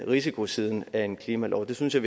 risikosiden af en klimalov og det synes jeg